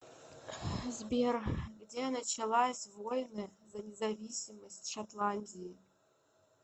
сбер где началась войны за независимость шотландии